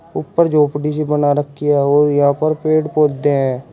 ऊपर झोपड़ी सी बना रखी है और यहां पर पेड़ पौधे हैं।